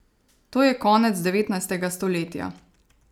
To je konec devetnajstega stoletja.